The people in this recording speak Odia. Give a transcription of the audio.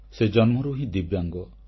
ସେ ଜନ୍ମରୁ ହିଁ ଦିବ୍ୟାଙ୍ଗ